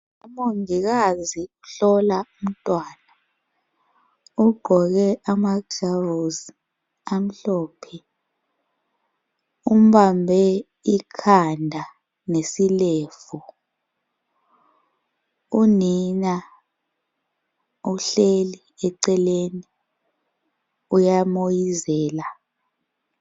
Umongikazi uhlola umntwana. Ugqoke ama gloves amhlophe. Umbambe ikhanda lesilevu. Unina uhleli eceleni uyamoyizela.